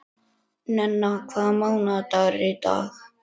Nenna, hvaða mánaðardagur er í dag?